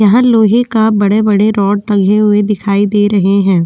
यहां लोहे का बड़े बड़े रॉड लगे हुए दिखाई दे रहे हैं।